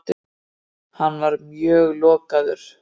Hann var mjög lokaður.